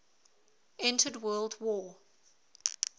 entered world war